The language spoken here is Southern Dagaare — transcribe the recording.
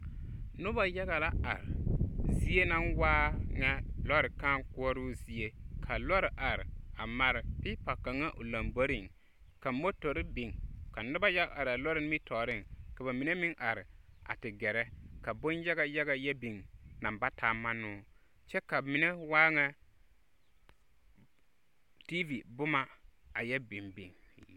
Noba yage la are, zie naŋ waa ŋa lͻre kãã koͻroo zie. Ka lͻre are a mare peepa kaŋa o lomboriŋ, ka motori biŋ, ka noba yaga araa nimitͻͻreŋ, ka ba mine are a te gԑrԑ ka bonyaga yaga yԑ biŋ naŋ ba taa mannoo, kyԑ ka mine waa ŋa tiivi boma a yԑ bimbiŋ.